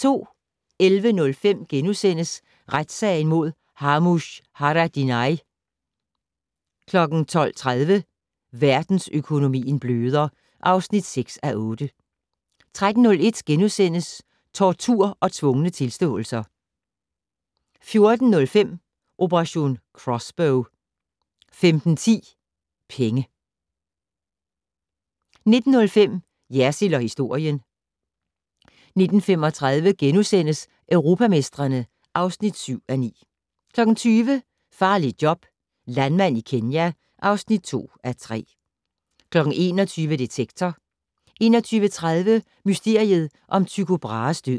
11:05: Retssagen mod Ramush Haradinaj * 12:30: Verdensøkonomien bløder (6:8) 13:01: Tortur og tvungne tilståelser * 14:05: Operation Crossbow 15:10: Penge 19:05: Jersild & historien 19:35: Europamestrene (7:9)* 20:00: Farligt job - landmand i Kenya (2:3) 21:00: Detektor 21:30: Mysteriet om Tycho Brahes død